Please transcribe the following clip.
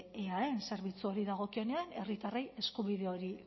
eaen zerbitzuari dagokionean herritarrei eskubide hori